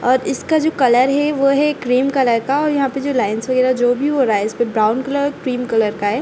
और इसका जो कलर है वो है क्रीम कलर का और यहाँ पे लाइन्स वगेरा जो भी हो रहा है इसपे ब्राउन कलर और क्रीम कलर का हैं।